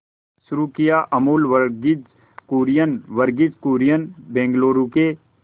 शुरू किया अमूल वर्गीज कुरियन वर्गीज कुरियन बंगलूरू के